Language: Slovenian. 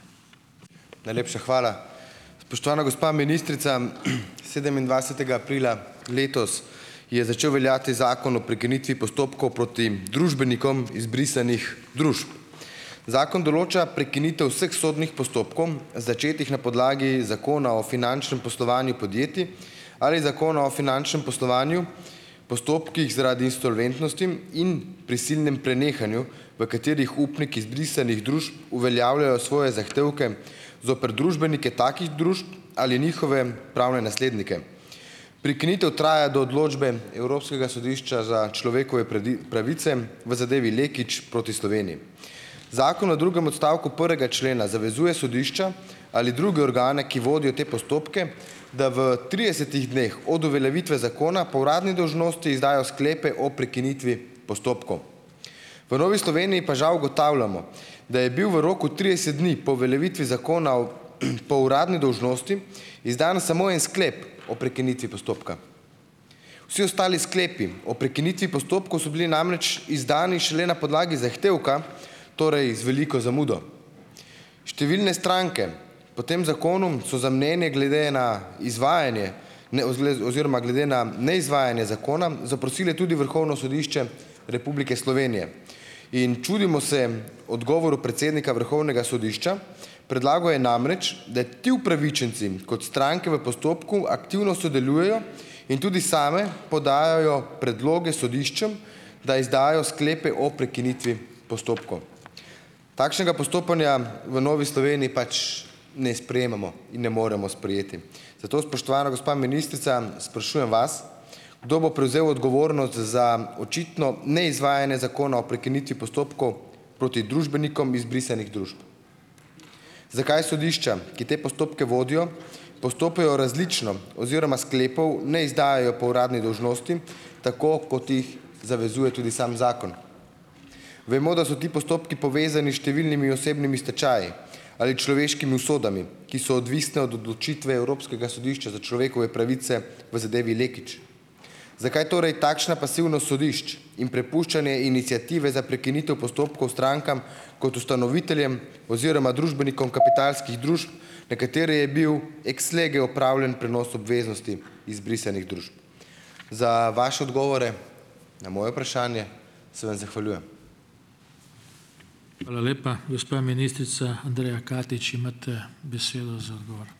Najlepša hvala. Spoštovana gospa ministrica, sedemindvajsetega aprila letos je začel veljati Zakon o prekinitvi postopkov proti družbenikom izbrisanih družb. Zakon določa prekinitev vseh sodnih postopkov, začetih na podlagi Zakona o finančnem poslovanju podjetij, ali Zakona o finančnem poslovanju, postopkih zaradi insolventnosti in prisilnem prenehanju, v katerih upniki izbrisanih družb uveljavljajo svoje zahtevke zoper družbenike takih družb ali njihove pravne naslednike. Prekinitev traja do odločbe Evropskega sodišča za človekove pravice v zadevi Lekić proti Sloveniji. Zakon v drugem odstavku prvega člena zavezuje sodišča ali druge organe, ki vodijo te postopke, da v tridesetih dneh od uveljavitve zakona po uradni dolžnosti izdajo sklepe o prekinitvi postopkov. V Novi Sloveniji pa žal ugotavljamo, da je bil v roku trideset dni po uveljavitvi zakona po uradni dolžnosti izdan samo en sklep o prekinitvi postopka. Vsi ostali sklepi o prekinitvi postopkov so bili namreč izdani šele na podlagi zahtevka, torej z veliko zamudo. Številne stranke po tem zakonu, so za mnenje glede na izvajanje oziroma glede na neizvajanje zakona zaprosile tudi Vrhovno sodišče Republike Slovenije. In čudimo se odgovoru predsednika Vrhovnega sodišča. Predlagal je namreč, da ti upravičenci, kot stranke v postopku, aktivno sodelujejo in tudi same podajajo predloge sodiščem, da izdajo sklepe o prekinitvi postopkov. Takšnega postopanja v Novi Sloveniji pač ne sprejemamo in ne moremo sprejeti, zato spoštovana gospa ministrica sprašujem vas: Kdo bo prevzel odgovornost za očitno neizvajanje Zakona o prekinitvi postopkov proti družbenikom izbrisanih družb? Zakaj sodišča, ki te postopke vodijo, postopajo različno oziroma sklepov ne izdajajo po uradni dolžnosti, tako kot jih zavezuje tudi sam zakon? Vemo, da so ti postopki povezani s številnimi osebnimi stečaji ali človeškimi usodami, ki so odvisne od odločitve Evropskega sodišča za človekove pravice v zadevi Lekić. Zakaj torej takšna pasivnost sodišč in prepuščanje iniciative za prekinitev postopkov strankam kot ustanoviteljem oziroma družbenikom kapitalskih družb, na katere je bil ex lege opravljen prenos obveznosti izbrisanih družb. Za vaše odgovore na moje vprašanje se vam zahvaljujem.